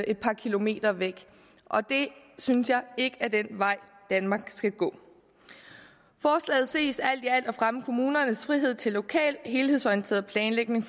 et par kilometer væk og det synes jeg ikke er den vej danmark skal gå forslaget ses alt i alt at fremme kommunernes frihed til lokal helhedsorienteret planlægning